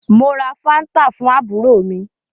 Mo ra fanta fún àbúrò mí